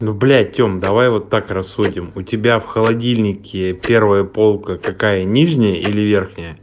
ну блять тем давай вот так рассудим у тебя в холодильнике первая полка какая нижняя или вверхняя